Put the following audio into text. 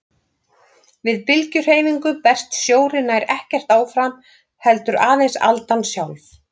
Við bylgjuhreyfingu berst sjórinn nær ekkert áfram heldur aðeins aldan sjálf.